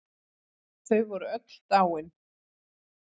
Þau voru öll dáin.